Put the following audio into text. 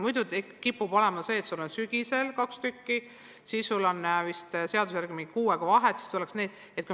Muidu võib juhtuda, et õpilasel on sügisel kaks testi, siis on seaduse järgi mingi kuu aega vahet ja siis tuleks teised testid.